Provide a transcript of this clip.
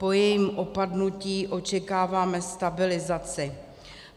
Po jejím opadnutí očekáváme stabilizaci.